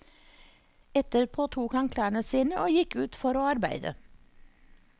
Etterpå tok han klærne sine og gikk ut for å arbeide.